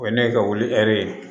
O ye ne ka wuli ɛri ye